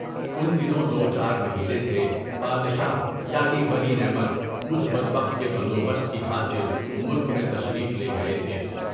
اُن دنوں دو چار مہینے سے یادگار بادشاہ ولی نعمت مجھ بدبخت کے ہندوبست کی خاطر ملک میں تشریف لے گئے تھے۔